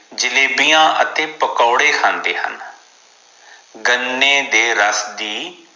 ਜਲੇਬੀਆਂ ਅਤੇ ਪਕੌੜੇ ਖਾਂਦੇ ਹਨ ਗੰਨੇ ਦੇ ਰਾਸ ਦੀ